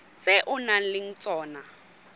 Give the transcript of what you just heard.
tse o nang le tsona